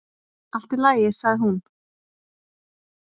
"""Allt í lagi, sagði hún."""